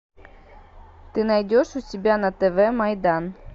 ты найдешь у себя на тв майдан